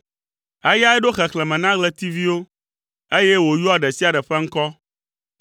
Eyae ɖo xexlẽme na ɣletiviwo, eye wòyɔa ɖe sia ɖe ƒe ŋkɔ.